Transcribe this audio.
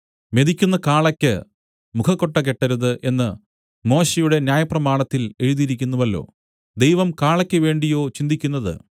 മെതിക്കുന്ന കാളയ്ക്ക് മുഖക്കൊട്ട കെട്ടരുത് എന്ന് മോശെയുടെ ന്യായപ്രമാണത്തിൽ എഴുതിയിരിക്കുന്നുവല്ലോ ദൈവം കാളയ്ക്ക് വേണ്ടിയോ ചിന്തിക്കുന്നത്